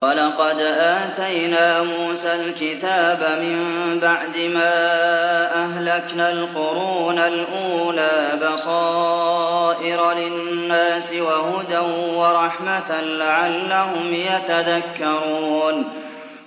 وَلَقَدْ آتَيْنَا مُوسَى الْكِتَابَ مِن بَعْدِ مَا أَهْلَكْنَا الْقُرُونَ الْأُولَىٰ بَصَائِرَ لِلنَّاسِ وَهُدًى وَرَحْمَةً لَّعَلَّهُمْ يَتَذَكَّرُونَ